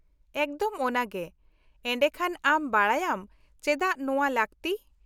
-ᱮᱠᱫᱚᱢ ᱚᱱᱟᱜᱮ, ᱮᱰᱮᱠᱷᱟᱱ ᱟᱢ ᱵᱟᱰᱟᱭᱟᱢ ᱪᱮᱫᱟᱜ ᱱᱚᱶᱟ ᱞᱟᱹᱠᱛᱤ ᱾